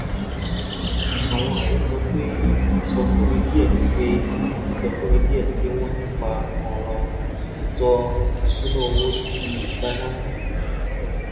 àwọn ààrẹ sọ pé ìsọfúnni díẹ pé ìsọfúnni díẹ tí wọn ní nípa ọràn ìṣúnná owó ti binance fi